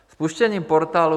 Spuštěním portálu